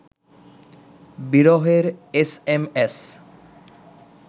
বিরহের S M S